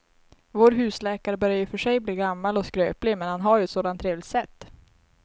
Vår husläkare börjar i och för sig bli gammal och skröplig, men han har ju ett sådant trevligt sätt!